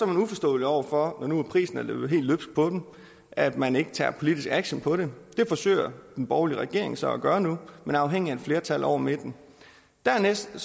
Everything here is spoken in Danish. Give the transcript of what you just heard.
man uforstående over for når nu prisen er løbet helt løbsk på dem at man ikke tager politisk action på det det forsøger den borgerlige regering så at gøre nu men er afhængig af et flertal over midten dernæst er